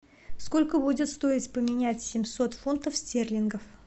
сколько будет стоить поменять семьсот фунтов стерлингов